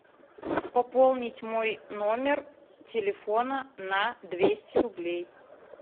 пополнить мой номер телефона на двести рублей